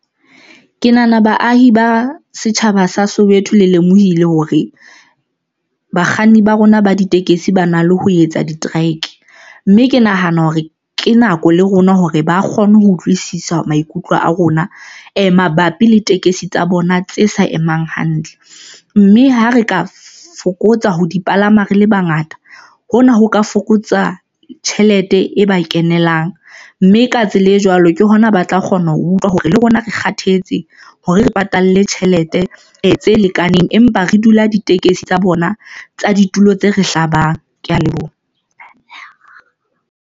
Ke nahana baahi ba setjhaba sa Soweto le lemohile hore bakganni ba rona ba ditekesi ba na le ho etsa di-trike, mme ke nahana hore ke nako le rona hore ba kgone ho utlwisisa maikutlo a rona mabapi le tekesi tsa bona tse sa emang hantle mme ha re ka fokotsa ho di palama. Re le bangata hona ho ka fokotsa tjhelete e ba kenelang, mme, ka tsela e jwalo ke hona ba tla kgona ho utlwa hore le rona re kgathetse hore re patale tjhelete e tse lekaneng, empa re dula ditekesi tsa bona tsa ditulo tse re hlabang. Ke ya leboha.